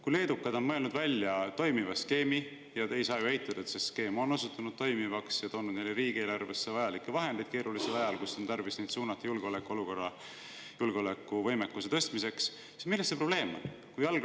Kui leedukad on mõelnud välja toimiva skeemi – te ei saa ju eitada, et see skeem on osutunud toimivaks ja toonud neile riigieelarvesse vajalikke vahendeid keerulisel ajal, kui on tarvis neid vahendeid suunata julgeolekuvõimekuse tõstmiseks –, siis milles see probleem on?